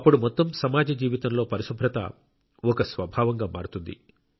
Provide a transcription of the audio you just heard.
అప్పుడు మొత్తం సమాజ జీవితంలో పరిశుభ్రత ఒక స్వభావంగా మారుతుంది